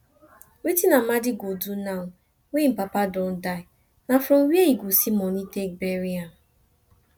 wetin amadi go do now wey im papa don die na from where e go see money take bury am